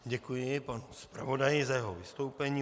Děkuji panu zpravodaji za jeho vystoupení.